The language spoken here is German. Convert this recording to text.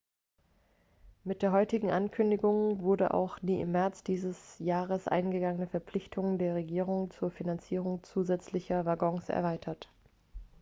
mit der heutigen ankündigung wurde auch die im märz dieses jahres eingegangene verpflichtung der regierung zur finanzierung zusätzlicher waggons erweitert